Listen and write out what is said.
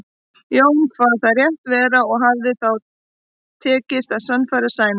Jón kvað það rétt vera og hafði þá tekist að sannfæra Sæmund.